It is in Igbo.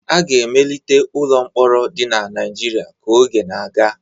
A ga-emelite ụlọ mkpọrọ dị na Naijiria ka oge na-aga.